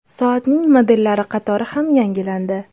Soatning modellari qatori ham yangilandi.